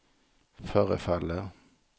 förefaller